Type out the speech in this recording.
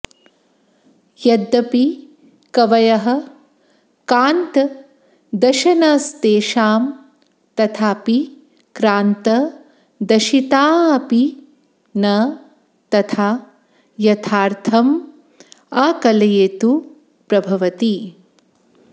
यद्यपि कवयः कान्तदशनस्तेषां तथापि क्रान्तदशिताऽपि न तथा यथार्थमाकलयितु प्रभवति